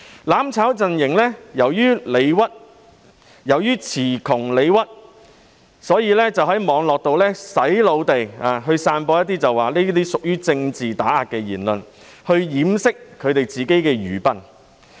"攬炒"陣營由於詞窮理屈，故此在網絡上"洗腦"地聲稱這些屬政治打壓言論，以掩飾他們的愚笨。